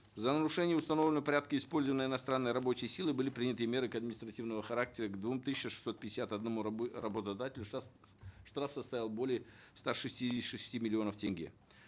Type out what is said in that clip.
за нарушение установленного порядка использования иностранной рабочей силы были приняты меры административного характера к двум тысячам шестьсот пятьдесят одному работодателю штраф составил более ста шестидесяти шести миллионов тенге